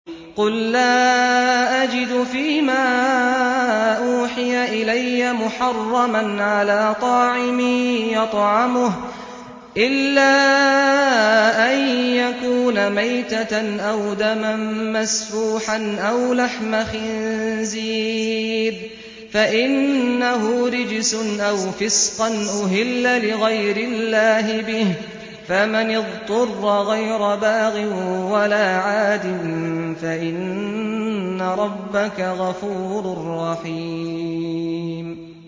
قُل لَّا أَجِدُ فِي مَا أُوحِيَ إِلَيَّ مُحَرَّمًا عَلَىٰ طَاعِمٍ يَطْعَمُهُ إِلَّا أَن يَكُونَ مَيْتَةً أَوْ دَمًا مَّسْفُوحًا أَوْ لَحْمَ خِنزِيرٍ فَإِنَّهُ رِجْسٌ أَوْ فِسْقًا أُهِلَّ لِغَيْرِ اللَّهِ بِهِ ۚ فَمَنِ اضْطُرَّ غَيْرَ بَاغٍ وَلَا عَادٍ فَإِنَّ رَبَّكَ غَفُورٌ رَّحِيمٌ